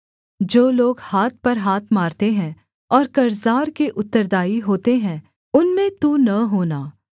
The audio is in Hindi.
जो लोग हाथ पर हाथ मारते हैं और कर्जदार के उत्तरदायी होते हैं उनमें तू न होना